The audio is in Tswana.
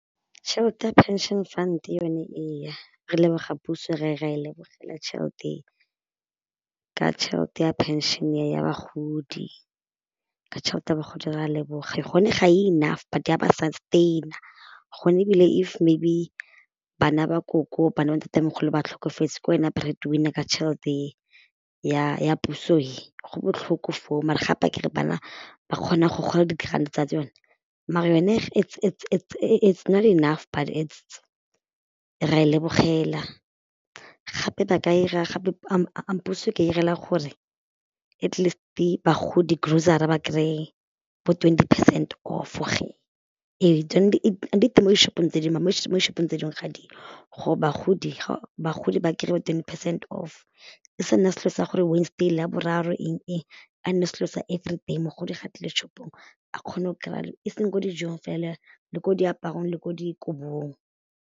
Tšhelete ya pension fund yone ee re a leboga puso ra e lebogela ka tšhelete e, ka tšhelete ya phenšene ya bagodi, ka tšhelete ya bagodi re a leboga, gone ga e enough but ya ba sustain-a gone ebile if maybe bana ba koko bana ba ntatemogolo ba tlhokafetse ke wena bread-winner a ka tšhelete ya puso e, go botlhoko foo mara gape akere bana ba kgona go gola di grand tsa tsone mare yone it's not enough but ra e lebogela gape ba ka ira gape puso ka irela gore atleast bagodi grocery ba kry-e bo twenty percent off tsone di teng mo di shop-ong tse dingwe mo shop-ong tse dingwe ga di yo, gore bagodi bagodi ba kry-e twenty percent off e sa nna selo sa gore Wednesday, Laboraro eng-eng a nne selo sa everyday, mogodi ga tlile shop-ong a kgone go kry-a e seng mo dijong fela le ko diaparong le ko dikobong.